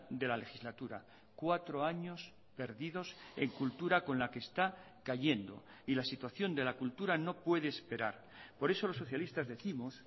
de la legislatura cuatro años perdidos en cultura con la que está cayendo y la situación de la cultura no puede esperar por eso los socialistas décimos